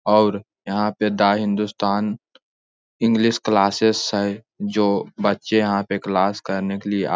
और यहाँ पे द हिंदुस्तान इंग्लिश क्लासेस है जो बच्चे यहाँ पे क्लास करने के लिए आ --